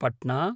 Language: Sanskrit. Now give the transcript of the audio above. पट्ना